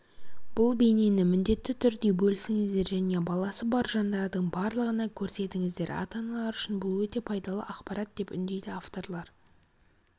бұл бейнені міндетті түрде бөлісіңіздер және баласы бар жандардың барлығына көрсетіңіздер ата-аналар үшін бұл өте пайдалы ақпарат деп үндейді авторлар